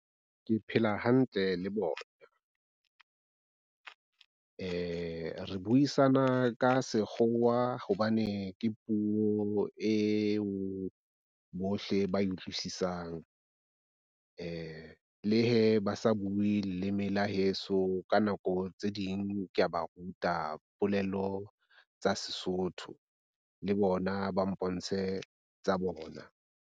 Ke phela hantle le bona re buisana ka sekgowa hobane ke puo eo bohle ba utlwisisang le he ba sa bue leleme la heso, ka nako tse ding ke ya ba ruta polelo tsa Sesotho le bona ba mpontshe tsa bona.